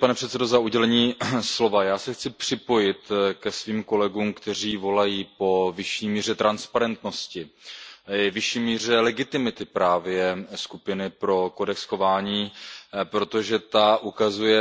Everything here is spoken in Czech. Pane předsedající, já se chci připojit ke svým kolegům, kteří volají po vyšší míře transparentnosti, vyšší míře legitimity právě Skupiny pro kodex chování, protože ta